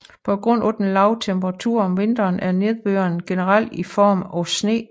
På grund af den lave temperatur om vinteren er nedbøren generelt i form af sne